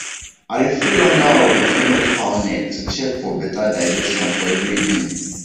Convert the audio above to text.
i dey feel under of the female fowl neck to check for better digestion for every evening